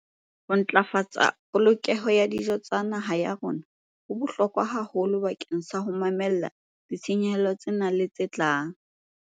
Ho ntlafatsa polokehelo ya dijo tsa naha ya rona ho bohlokwa haholo bakeng sa ho mamella ditshenyehelo tsena le tse tlang.